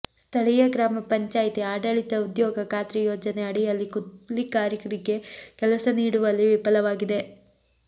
ಸ್ಥಳೀಯ ಗ್ರಾಮ ಪಂಚಾಯಿತಿ ಆಡಳಿತ ಉದ್ಯೋಗ ಖಾತ್ರಿ ಯೋಜನೆ ಅಡಿಯಲ್ಲಿ ಕೂಲಿಕಾರರಿಗೆ ಕೆಲಸ ನೀಡುವಲ್ಲಿ ವಿಫಲವಾಗಿದೆ